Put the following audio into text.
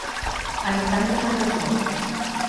александр кондрашов